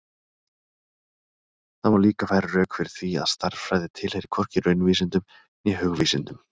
Það má líka færa rök fyrir því að stærðfræði tilheyri hvorki raunvísindum né hugvísindum.